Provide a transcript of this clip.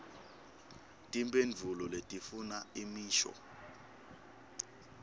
timphendvulo letifuna imisho